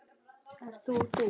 Ert þú þú?